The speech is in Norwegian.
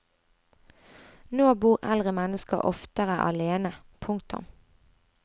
Nå bor eldre mennesker oftere alene. punktum